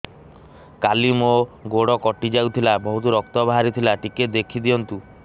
କାଲି ମୋ ଗୋଡ଼ କଟି ଯାଇଥିଲା ବହୁତ ରକ୍ତ ବାହାରି ଥିଲା ଟିକେ ଦେଖି ଦିଅନ୍ତୁ